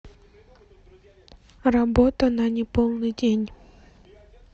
работа на неполный день